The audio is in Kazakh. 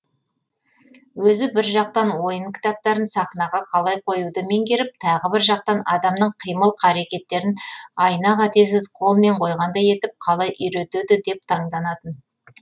өзі бір жақтан ойын кітаптарын сахнаға қалай қоюды меңгеріп тағы бір жақтан адамның қимыл қаракеттерін айна қатесіз қолмен қойғандай етіп қалай үйретеді деп таңданатын